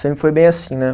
Sempre foi bem assim, né?